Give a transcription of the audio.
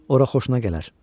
Oraya xoşuna gələr.